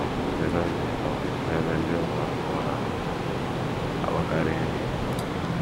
um Zere oge um na ebe ndị ụmụ ahụhụ na - akpakarị nri.